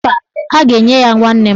Mba, a ga-enye ya nwanna m